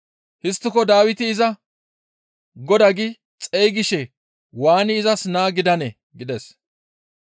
Histtiko Dawiti iza, ‹Godaa› gi xeygishe waani izas naa gidanee?» gides.